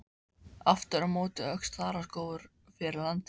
Aftur á móti óx þaraskógur fyrir landi.